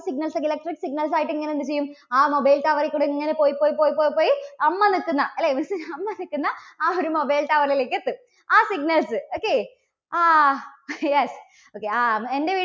signals ഒക്കെ electric signals ആയിട്ട് ഇങ്ങനെ എന്ത് ചെയ്യും? ആ mobile tower ൽ കൂടി ഇങ്ങനെ പോയി, പോയി, പോയി, പോയി അമ്മ നിൽക്കുന്ന അല്ലേ, അമ്മ നിൽക്കുന്ന ആ ഒരു mobile tower ലേക്ക് എത്തും. ആ signals, okay. ആ yes, okay ആ എൻറെ വീടി~